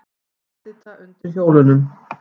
Edita undir hjólunum.